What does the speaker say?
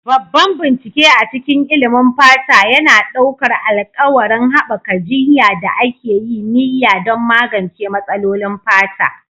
Babban bincike a cikin ilimin fata yana ɗaukar alƙawarin haɓaka jiyya da aka yi niyya don magance matsalolin fata.